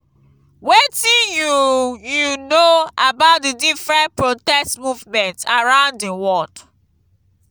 wetin you you know about di different protest movement around di world?